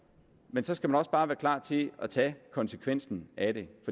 men så skal man også bare være klar til at tage konsekvensen af det